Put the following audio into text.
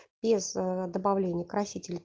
без ээ добавления красителяя